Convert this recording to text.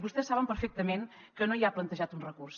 vostès saben perfectament que no hi ha plantejat un recurs